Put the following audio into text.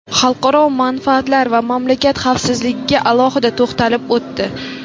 xalqaro manfaatlar va mamlakat xavfsizligiga alohida to‘xtalib o‘tdi.